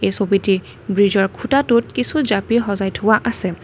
এই ছবিটি ব্ৰীজৰ খুঁটাটোত কিছু জাপি সজাই থোৱা আছে।